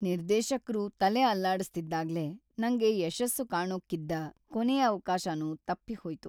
ನಿರ್ದೇಶಕ್ರು ತಲೆ ಅಲ್ಲಾಡಿಸ್ತಿದ್ಹಾಗೇ ನಂಗೆ ಯಶಸ್ಸು ಕಾಣೋಕಿದ್ದ ಕೊನೇ ಅವ್ಕಾಶನೂ ತಪ್ಪ್‌ಹೋಯ್ತು.